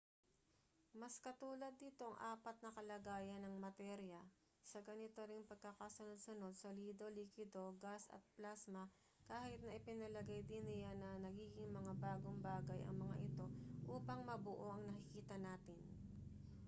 mas katulad nito ang apat na kalagayan ng materya sa ganito ring pagkakasunod-sunod: solido likido gas at plasma kahit na ipinalagay din niya na nagiging mga bagong bagay ang mga ito upang mabuo ang nakikita natin